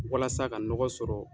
Walasa ka nɔgɔ sɔrɔ